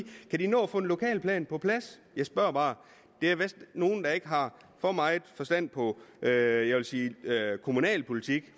kan de nå at få en lokalplan på plads jeg spørger bare der er vist nogle der ikke har for meget forstand på jeg jeg vil sige kommunalpolitik